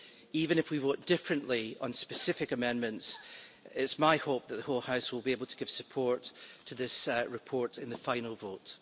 Even if we vote differently on specific amendments, it's my hope that the whole House will be able to give support to this report in the final vote.